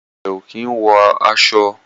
Ìyàwó rẹ o kín wọ ọṣọ.